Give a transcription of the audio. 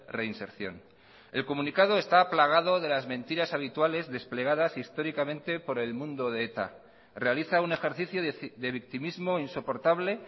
reinserción el comunicado está plagado de las mentiras habituales desplegadas históricamente por el mundo de eta realiza un ejercicio de victimismo insoportable